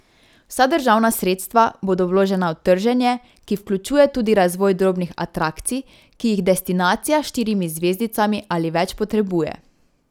Vsa državna sredstva bodo vložena v trženje, ki vključuje tudi razvoj drobnih atrakcij, ki jih destinacija s štirimi zvezdicami ali več potrebuje.